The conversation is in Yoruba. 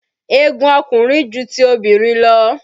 Egun ọkùnrin ju ti obìnrin lọ.